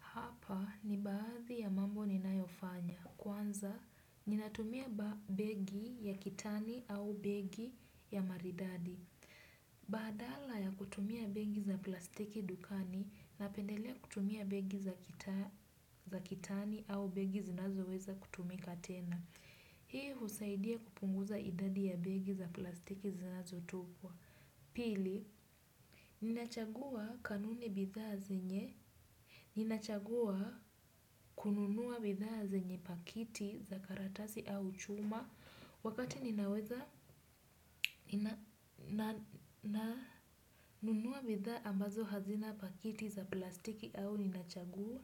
Hapa ni baadhi ya mambo ninayofanya. Kwanza, ninatumia begi ya kitani au begi ya maridadi. Badala ya kutumia begi za plastiki dukani, napendelea kutumia begi za kitani au begi zinazoweza kutumika tena. Hii husaidia kupunguza idadi ya begi za plastiki zinazo tupwa. Pili, ninachagua kanuni bidhaa zenye. Ninachagua kununua bidhaa zenye pakiti za karatasi au chuma wakati ninaweza na nunua bidhaa ambazo hazina pakiti za plastiki au ninachagua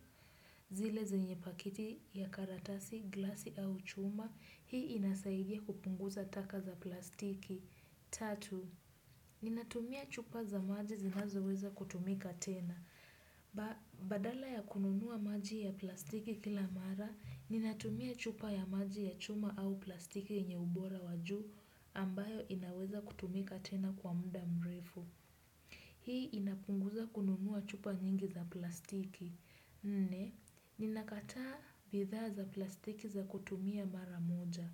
zile zinye pakiti ya karatasi, glasi au chuma. Hii inasaidia kupunguza taka za plastiki. Tatu, ninatumia chupa za maji zinazoweza kutumika tena. Badala ya kununua maji ya plastiki kila mara, ninatumia chupa ya maji ya chuma au plastiki yenye ubora wajuu ambayo inaweza kutumika tena kwa muda mrefu. Hii inapunguza kununuwa chupa nyingi za plastiki. Nne, ninakataa bidhaa za plastiki za kutumia mara moja.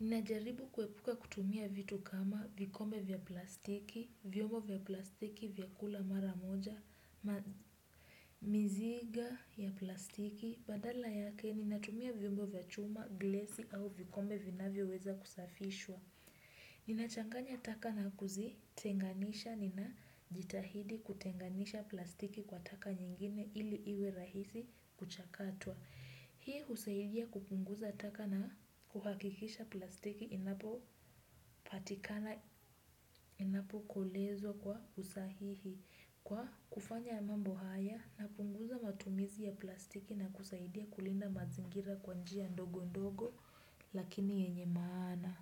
Ninajaribu kuepuka kutumia vitu kama vikombe vya plastiki, vyombo vya plastiki, vyakula maramoja, mizigo ya plastiki, badala yake ninatumia vyombo vya chuma, glesi au vikombe vinavyoweza kusafishwa. Ninachanganya taka na kuzitenganisha, ninajitahidi kutenganisha plastiki kwa taka nyingine ili iwe rahisi kuchakatwa. Hii husaidia kupunguza taka na kuhakikisha plastiki inapopatikana inapokolezwa kwa usahihi. Kwa kufanya mambo haya na kupunguza matumizi ya plastiki na kusaidia kulinda mazingira kwa njia ndogo ndogo lakini yenye maana.